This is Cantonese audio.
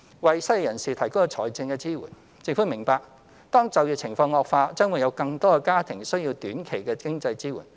為失業人士提供財政支援政府明白當就業情況惡化，將會有更多的家庭需要短期的經濟支援。